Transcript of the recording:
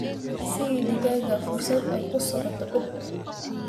Sii digaagga fursad ay ku socdaan coop.